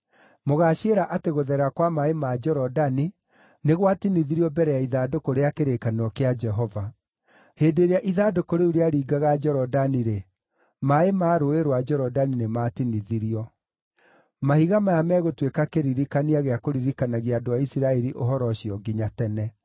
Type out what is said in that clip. Mũgaaciĩra atĩ gũtherera kwa maaĩ ma Jorodani nĩ gwatinithirio mbere ya ithandũkũ rĩa kĩrĩkanĩro kĩa Jehova. Hĩndĩ ĩrĩa ithandũkũ rĩu rĩaringaga Jorodani-rĩ, maaĩ ma Rũũĩ rwa Jorodani nĩmatinithirio. Mahiga maya megũtuĩka kĩririkania gĩa kũririkanagia andũ a Isiraeli ũhoro ũcio nginya tene.”